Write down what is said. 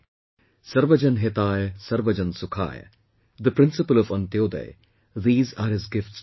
'Sarvajan Hitay Sarvajan Sukhay', the principle of ANTYODAY these are his gifts to us